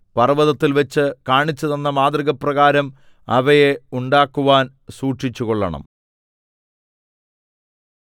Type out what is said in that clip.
പർവ്വതത്തിൽവച്ച് കാണിച്ചുതന്ന മാതൃകപ്രകാരം അവയെ ഉണ്ടാക്കുവാൻ സൂക്ഷിച്ചുകൊള്ളണം